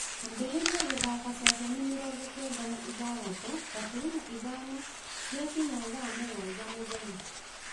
ambĩrĩria gũthaaka ceceni mĩrongo kenda na ithathatũ gaturumo ithano ciakinya thaa mũgwanja mũthenya